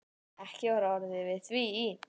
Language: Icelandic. Ekki var orðið við því.